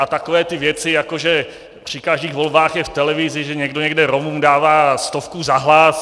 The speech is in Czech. A takové ty věci, jako že při každých volbách je v televizi, že někdo někde Romům dává stovku za hlas.